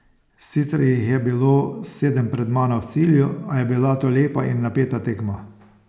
Sicer jih je bilo sedem pred mano v cilju, a je bila to lepa in napeta tekma.